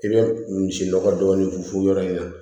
I bɛ misi nɔgɔ dɔɔnin fɔ yɔrɔ in na